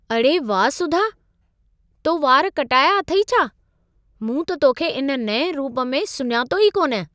अड़े वाह सुधा, तो वार कटाया अथई छा! मूं त तोखे इन नएं रूप में सुञातो ई कोन!